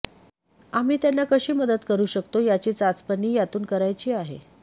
आम्ही त्यांना कशी मदत करू शकतो याची चाचपणी यातून करायची आहे